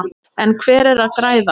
En hver er að græða?